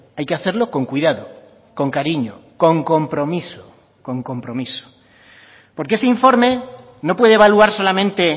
hay que hacerlo con cuidado con cariño con compromiso con compromiso porque ese informe no puede evaluar solamente